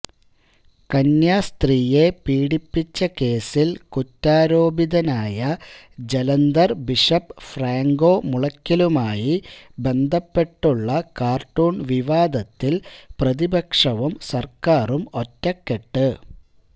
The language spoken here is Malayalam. കന്യാസ്ത്രീയെ പീഡിപ്പിച്ച കേസില് കുറ്റാരോപിതനായ ജലന്ധര് ബിഷപ് ഫ്രാങ്കോ മുളയ്ക്കലുമായി ബന്ധപ്പെട്ടുള്ള കാര്ട്ടൂണ് വിവാദത്തില് പ്രതിപക്ഷവും സര്ക്കാരും ഒറ്റക്കെട്ട്